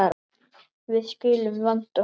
Við skulum vanda okkur.